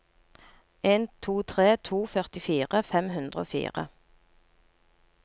en to tre to førtifire fem hundre og fire